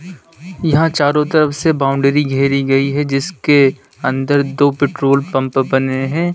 यहां चारों तरफ से बाउंड्री घेरी गई है जिसके अंदर दो पेट्रोल पंप बने हैं।